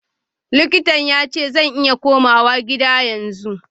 Likitan yace zan iya komawa gida yanzu.